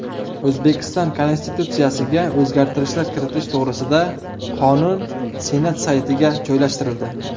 O‘zbekiston Konstitutsiyasiga o‘zgartirishlar kiritish to‘g‘risida qonun Senat saytiga joylashtirildi.